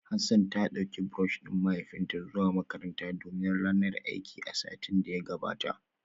Hassan ta dauki brush din mahaifinta zuwa makaranta domin ranar aiki a satin da ya gabata